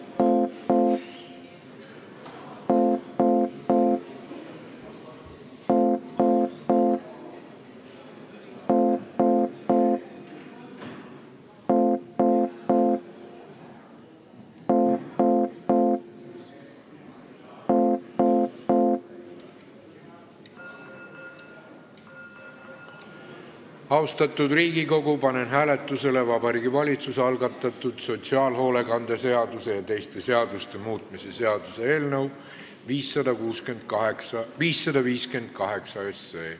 Austatud Riigikogu, panen hääletusele Vabariigi Valitsuse algatatud sotsiaalhoolekande seaduse ja teiste seaduste muutmise seaduse eelnõu 558.